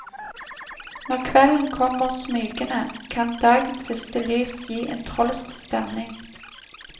Når kvelden kommer smygende, kan dagens siste lys gi en trolsk stemning.